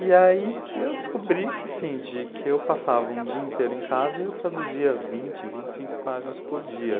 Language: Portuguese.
E aí eu descobri que assim, de, que eu passava um dia inteiro em casa e eu traduzia vinte, vinte e cinco páginas por dia.